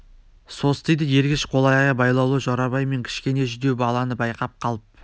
состиды ергеш қол-аяғы байлаулы жорабай мен кішкене жүдеу баланы байқап қалып